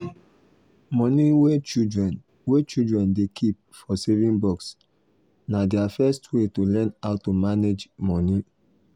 money wey children wey children dey keep for saving box na their first way to learn how to manage money.